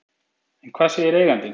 En hvað segir eigandinn?